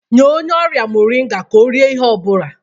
Nye onye ọrịa moringa tupu o rie ihe ọ bụla